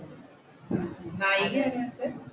നായികയാരാ അതിനകത്തു?